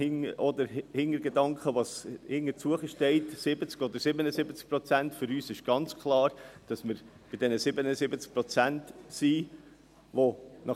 Mit dem Hintergedanken, der dahintersteht, 70 oder 77 Prozent, ist für uns jedoch klar, dass wir bei den 77 Prozent sind.